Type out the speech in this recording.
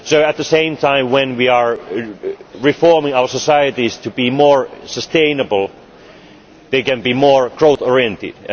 So at the same time as we are reforming our societies to be more sustainable, they can be more growth oriented.